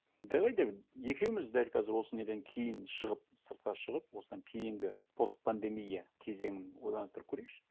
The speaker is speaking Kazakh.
давай да екеуіміз дәл қазір осы неден кейін шығып сыртқа шығып осыдан кейінгі постпандемия кезеңін ойланыстырып көрейікші